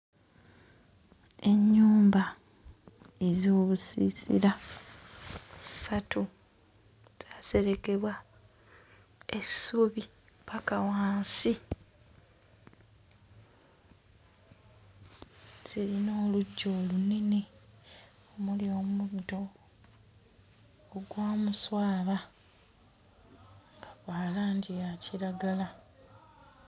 Ennyumba ez'obusiisira ssatu zaaserekebwa essubi ppaka wansi. Zirina oluggya olunene omuli omuddo ogwa muswaba nga gwa langi ya kiragala.